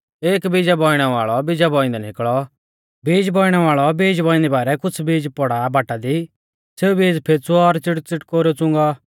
एक बीजा बौइणै वाल़ौ बीजा बौइंदै निकल़ौ बीज बौइणै वाल़ौ बौइंदी बारै कुछ़ बीज पौड़ौ बाटा दी सेऊ बीज फैंच़ुऔ और च़िड़ुच़िटकेरुऐ च़ुणौ